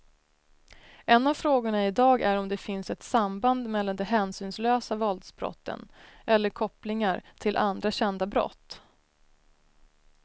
En av frågorna i dag är om det finns ett samband mellan de hänsynslösa våldsbrotten eller kopplingar till andra kända brott.